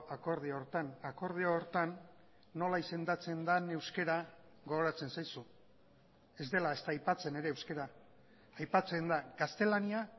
akordio horretan akordio horretan nola izendatzen den euskara gogoratzen zaizu ez dela ezta aipatzen ere euskara aipatzen da gaztelania